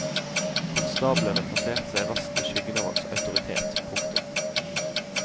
Konstablene plasserte seg raskt i skyggen av hans autoritet. punktum